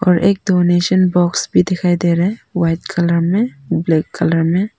और एक donation box भी दिखाई दे रहा है व्हाइट कलर में ब्लैक कलर में।